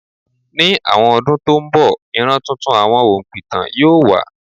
Ní àwọn ọdún tó ń bọ̀, ìran tuntun àwọn òǹpìtàn yóò wà.